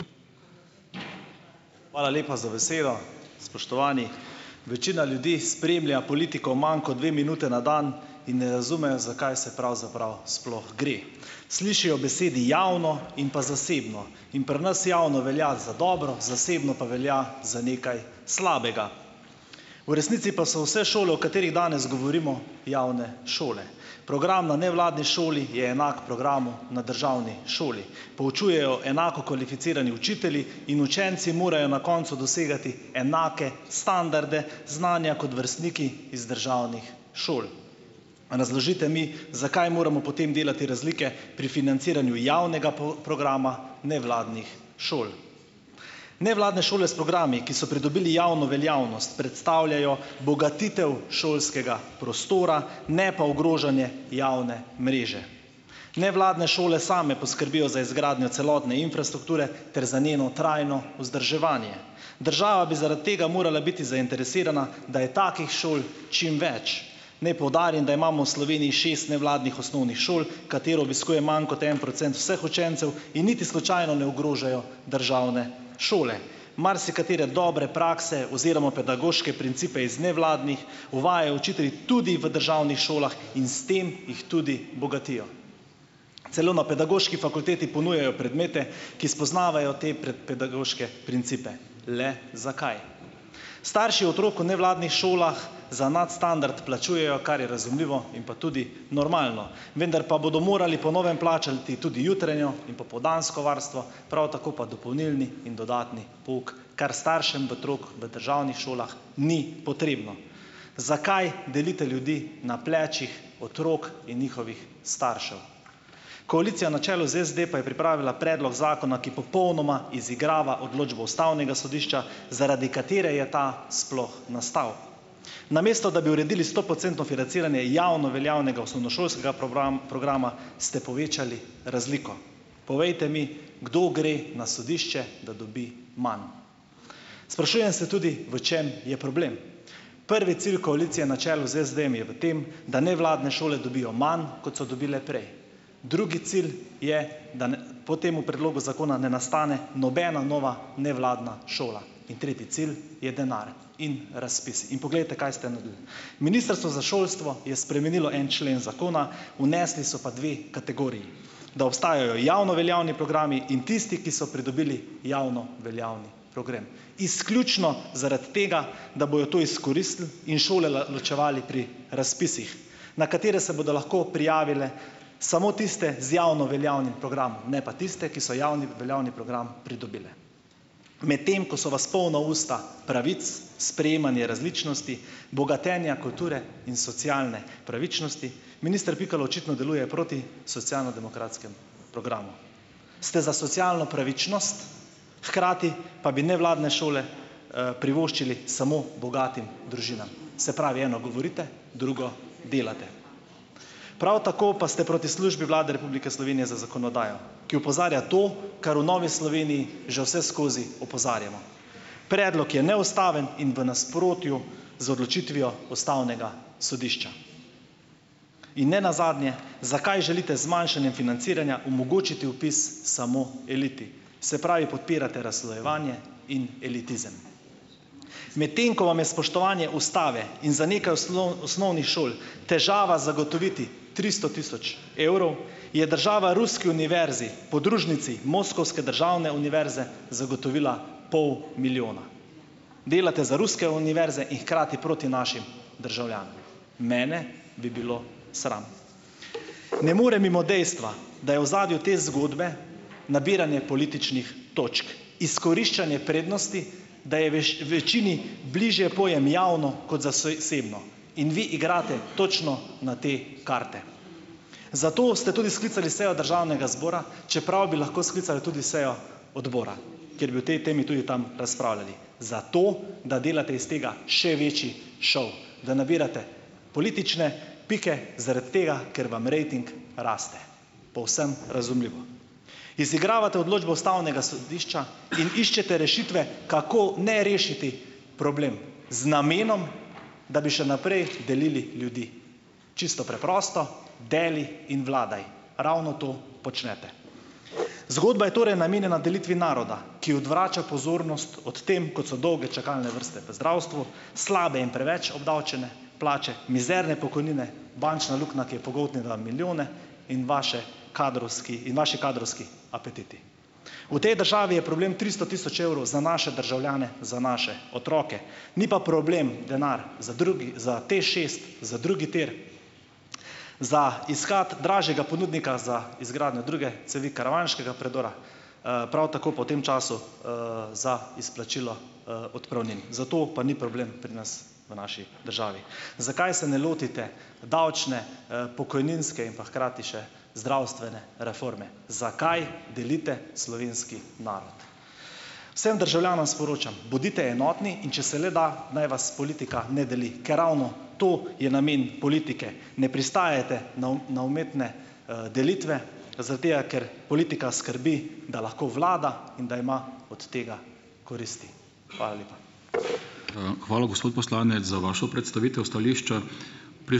Hvala lepa za besedo. Spoštovani. Večina ljudi spremlja politiko manj kot dve minuti na dan in ne razumejo, zakaj se pravzaprav sploh gre. Slišijo besedi javno pa zasebno. In pri nas javno velja za dobro, zasebno pa velja za nekaj slabega. V resnici pa so vse šole, o katerih danes govorimo, javne šole. Program v nevladni šoli je enak programu na državni šoli. Poučujejo enako kvalificirani učitelji in učenci morajo na koncu dosegati enake standarde, znanja kot vrstniki iz državnih šol. Razložite mi, zakaj moramo potem delati razlike pri financiranju javnega programa nevladnih šol. Nevladne šole s programi, ki so pridobili javno veljavnost, predstavljajo bogatitev šolskega prostora, ne pa ogrožanje javne mreže. Nevladne šole same poskrbijo za izgradnjo celotne infrastrukture, ter za njeno trajno vzdrževanje. Država bi zaradi tega morala biti zainteresirana, da je takih šol čim več. Naj poudarim, da imamo v Sloveniji šest nevladnih osnovnih šol, katero obiskuje manj kot en procent vseh učencev in niti slučajno ne ogrožajo državne šole. Marsikatere dobre prakse oziroma pedagoške principe iz nevladnih uvajajo učitelji tudi v državnih šolah in s tem jih tudi bogatijo. Celo na pedagoški fakulteti ponujajo predmete, ki spoznavajo te pedagoške principe. Le zakaj? Starši otrok v nevladnih šolah za nadstandard plačujejo, kar je razumljivo in pa tudi normalno. Vendar pa bodo morali po novem plačati tudi jutranjo in popoldansko varstvo, prav tako pa dopolnilni in dodatni pouk. Kar staršem otrok v državnih šolah ni potrebno. Zakaj delite ljudi na plečih otrok in njihovih staršev? Koalicija na čelu s SD pa je pripravila predlog zakona, ki popolnoma izigrava odločbo Ustavnega sodišča, zaradi katere je ta sploh nastal. Namesto da bi uredili stoprocentno financiranje javno veljavnega osnovnošolskega programa, ste povečali razliko. Povejte mi, kdo gre na sodišče, da dobi manj? Sprašujem se tudi, v čem je problem? Prvi cilj koalicije na čelu s SD mi je v tem, da nevladne šole dobijo manj, kot so dobile prej. Drugi cilj je, da po temu predlogu zakona ne nastane nobena nova nevladna šola. In tretji cilj je denar. In razpis. In poglejte, kaj ste naredili. Ministrstvo za šolstvo je spremenilo en člen zakona, vnesli so pa dve kategoriji. Da ostajajo javno veljavni programi in tisti, ki so pridobili javno veljavni program. Izključno zaradi tega, da bojo to izkoristili in šole plačevali pri razpisih. Na katere se bodo lahko prijavile samo tiste z javno veljavnim programom. Ne pa tiste, ki so javni veljavni program pridobile. Med tem, ko so vas polna usta pravic, sprejemanje različnosti, bogatenja kulture in socialne pravičnosti, minister Pikalo očitno deluje proti socialnodemokratskemu programu. Ste za socialno pravičnost? Hkrati pa bi nevladne šole privoščili samo bogatim družinam. Se pravi eno govorite, drugo delate. Prav tako pa ste proti službi Vlade Republike Slovenije za zakonodajo, ki opozarja to, kar v Novi Sloveniji že vse skozi opozarjamo. Predlog je neustaven in v nasprotju z odločitvijo Ustavnega sodišča. In nenazadnje, zakaj želite z zmanjšanjem financiranja omogočiti vpis samo eliti? Se pravi podpirate razslojevanje in elitizem . Medtem ko vam je spoštovanje Ustave in za nekaj osnovnih šol težava zagotoviti tristo tisoč evrov, je država ruski univerzi, podružnici moskovske državne univerze, zagotovila pol milijona. Delate za ruske univerze in hkrati proti našim državljanom. Mene bi bilo sram. Ne morem mimo dejstva, da je v ozadju te zgodbe nabiranje političnih točk. Izkoriščanje prednosti, da je večini bližje pojem javno kot zasebno. In vi igrate točno na te karte. Zato ste tudi sklicali sejo Državnega zbora, čeprav bi lahko sklicali tudi sejo odbora. Ker bi o tej temi tudi tam razpravljali. Zato, da delate iz tega še večji šov. Da nabirate politične pike, zaradi tega, ker vam rejting raste. Povsem razumljivo. Izigravate odločbo Ustavnega sodišča in iščete rešitve, kako ne rešiti problem. Z namenom, da bi še naprej delili ljudi. Čisto preprosto, deli in vladaj. Ravno to počnete. Zgodba je torej namenjena delitvi naroda, ki odvrača pozornost od tem, kot so dolge čakalne vrste v zdravstvu, slabe in preveč obdavčene plače, mizerne pokojnine, bančna luknja, ki je pogoltnila milijone, in vaše kadrovski, in vaši kadrovski apetiti. V tej državi je problem tristo tisoč evrov za naše državljane, za naše otroke. Ni pa problem denar za za T šest, za drugi tir, za iskati dražjega ponudnika, za izgradnjo druge cevi karavanškega predora, prav tako bo tem času za izplačilo odpravnin . Zato pa ni problem pri nas, v naši državi. Zakaj se ne lotite davčne, pokojninske in pa hkrati še zdravstvene reforme? Zakaj delite slovenski narod? Vsem državljanom sporočam, bodite enotni, in če se le da, naj vas politika ne deli, ker ravno to je namen politike. Ne pristajajte na na umetne delitve, zaradi tega, ker politika skrbi, da lahko vlada in da ima od tega koristi. Hvala lepa . hvala, gospod poslanec, za vašo predstavitev stališča.